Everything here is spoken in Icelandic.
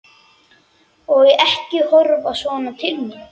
Úthlutun úr varasjóði til hluthafa er stundum heimil.